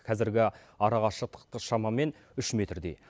қазіргі арақашықтықты шамамен үш метрдей